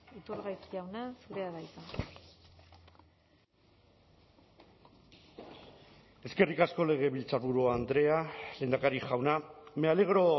iturgaiz jauna zurea da hitza eskerrik asko legebiltzarburu andrea lehendakari jauna me alegro